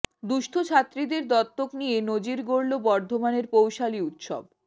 দুঃস্থ ছাত্রীদের দত্তক নিয়ে নজির গড়ল বর্ধমানের পৌষালি উৎসব